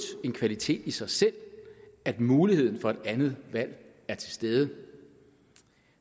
en kvalitet i sig selv at muligheden for et andet valg er til stede